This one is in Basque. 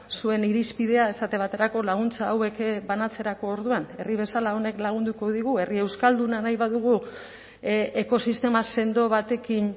zuen irizpidea esate baterako laguntza hauek banatzerako orduan herri bezala honek lagunduko digu herri euskalduna nahi badugu ekosistema sendo batekin